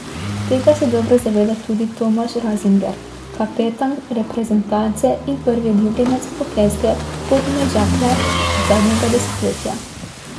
Tega se dobro zaveda tudi Tomaž Razingar, kapetan reprezentance in prvi ljubljenec hokejske Podmežakle zadnjega desetletja.